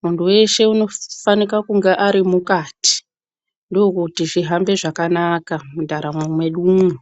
Muntu weshe unofana kunge ari mukati. Ndokuti zvihambe zvakanaka mundaramo mwedu mwo.